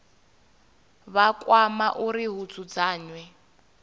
vha kwama uri hu dzudzanywe